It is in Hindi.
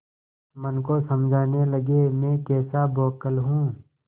मन को समझाने लगेमैं कैसा बौखल हूँ